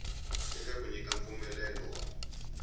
eka ku nyika mpfumelelo wa